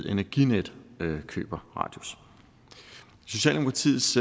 energinet køber radius socialdemokratiets